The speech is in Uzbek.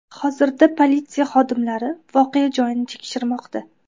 Hozirda politsiya xodimlari voqea joyini tekshirmoqda.